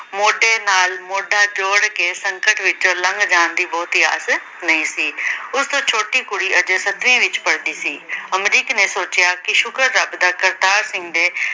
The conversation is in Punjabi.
ਮੋਢੇ ਨਾਲ ਮੋਢਾ ਜੋੜ ਕੇ ਸੰਕਟ ਵਿੱਚੋਂ ਲੰਘ ਜਾਣ ਦੀ ਬਹੁਤੀ ਆਸ ਨਹੀਂ ਸੀ। ਉਸ ਛੋਟੀ ਕੁੜੀ ਅਜੇ ਸੱਤਵੀਂ ਵਿੱਚ ਪੜਦੀ ਸੀ। ਅਮਰੀਕ ਨੇ ਸੋਚਿਆ ਕਿ ਸ਼ੁਕਰ ਰੱਬ ਦਾ ਕਰਤਾਰ ਸਿੰਘ ਦੇ